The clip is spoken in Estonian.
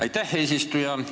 Aitäh, eesistuja!